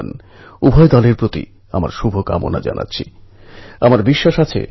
কিন্তু এই পুরো ঘটনাটিকে আমার একটু অন্যভাবে দেখতে ইচ্ছে হচ্ছে